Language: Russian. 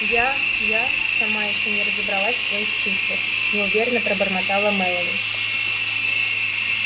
я я сама ещё не разобралась в своих чувствах неуверенно пробормотала мелани